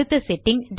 அடுத்த செட்டிங்